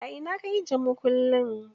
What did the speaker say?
A ina ka ajiye makullin?